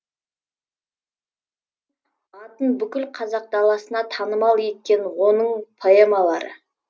атын бүкіл қазақ даласына танымал еткен оның поэмалары